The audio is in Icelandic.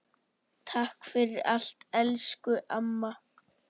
Takk fyrir allt elsku amma.